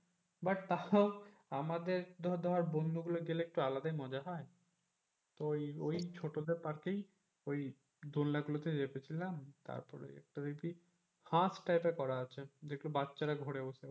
but তাহলে আমাদের তো ধরে বন্ধুগুলো গেলে তো একটু আলাদাই মজা হয় তো ওই ওই ছোট যে পার্কেই ওই দোলাগুলোতে চেপে ছিলাম তারপর একটা দেখবি হাঁস type এর করা আছে যে গুলো বাচ্চারা ঘরে বসে।